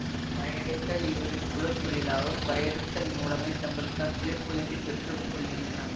பறையடித்தல் இவர்களின் குல தொழிலாகும் பறையடித்தல் மூலமே தங்களுக்கான் பிழைப்பூதியத்தைப் பெற்று கொள்கின்றன